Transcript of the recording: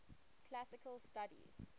classical studies